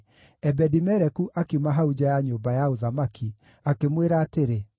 Ebedi-Meleku akiuma hau nja ya nyũmba ya ũthamaki, akĩmwĩra atĩrĩ,